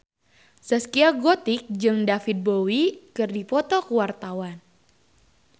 Zaskia Gotik jeung David Bowie keur dipoto ku wartawan